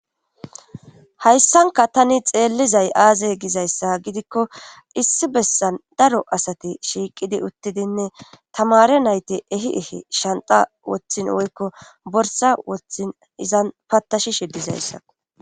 hayssanka tani xeellizay aaze gizayssa gidikko issi bessan daro asati shiiqidi uttidinne tamare nayti ehi ehi shanta wothin woykko borsa wothin izan patashi shidizayssa